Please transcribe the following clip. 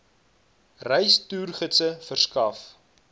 reis toergidse verskaf